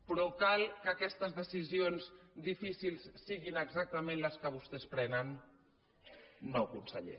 però cal que aquestes decisions difícils siguin exactament les que vostès prenen no conseller